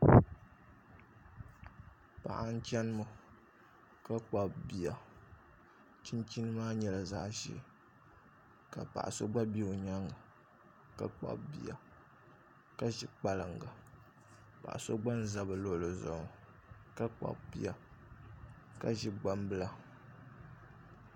Paɣa n chɛni ŋɔ ka kpabi bia chinchin maa nyɛla zaɣ ʒiɛ ka paɣa so gba bɛ o nyaanga ka kpabi bia ka ʒi kpalaŋa paɣa so gba n ʒɛ bi luɣuli zuɣu ka kpabi bia ka ʒi kpalaŋa